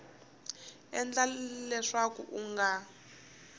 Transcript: ku endla leswaku u nga